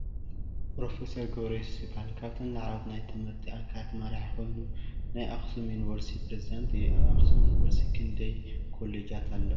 ፕ/ር ገብረዮሱስ ይበሃል ካብተን ላዕለዎት ናይ ትምህርቲ ትካላት መራሒ ኮይኑ ናይ ኣክሱም ዩኒቨርስቲ ፕሬዚዳንት እዩ። ኣብ ኣክሱም ዩኒቨርስቲ ክንዳይ ኮሌጃት ኣለዋ ?